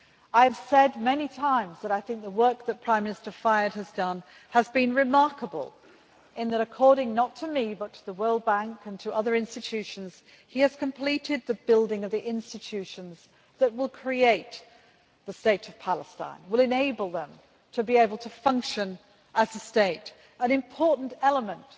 I have said many times that I think that the work that Prime Minister Fayyad has done has been remarkable in that, according not to me but to the World Bank and other institutions, he has completed the building of the institutions that will create the state of Palestine and will enable them to be able to function as a state an important element